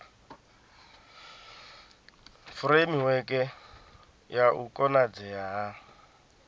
furemiweke ya u konadzea ha